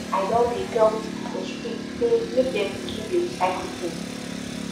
i don dey tell pipo for street sey make dem begin dey recycle tins